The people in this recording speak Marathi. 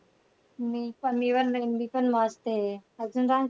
मी पण मी पण मी पण मस्त आहे. अजून सांग,